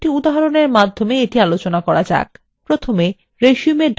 প্রথমে resume odt file খুলুন